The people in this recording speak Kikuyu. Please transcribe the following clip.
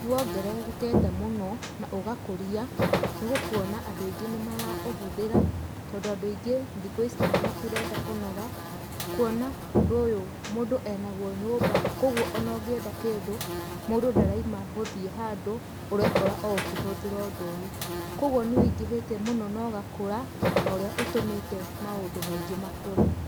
Nĩ wongererekete mũno na ũgakũria, nĩ ũkuona andũ aingĩ nĩ mara ũhũthĩra, tondũ andũ aingĩ thikũ ici matirenda kũnoga, kuona ũndũ ũyũ mũndũ ĩnaguo nyũmba, kogwo ona ũngĩenda kĩndũ, mũndũ ndaraima gũthiĩ handũ, ũrekora o ũkĩhũthĩra ũndũ ũyũ. Kogwo nĩ wĩingĩhĩte mũno na ũgakũra, na ũrĩa ũtũmĩte maũndũ maingĩ makũre.